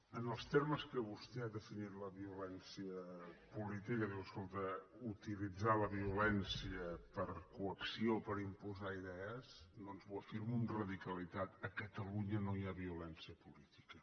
en els termes que vostè ha definit la violència política diu escolta utilitzar la violència per a coacció per imposar idees doncs ho afirmo amb radicalitat a catalunya no hi ha violència política